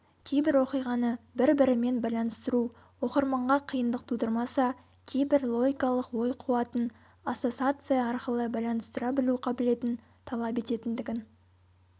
кейбір оқиғаны бір-бірімен байланыстыру оқырманға қиындық тудырмаса кейбірі логикалық ой қуатын ассосация арқылы байланыстыра білу қабілетін талап ететіндігін